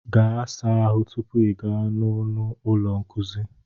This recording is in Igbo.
Gaa saa ahụ tupu I gaa n'ọnụ ụlọ nkuzi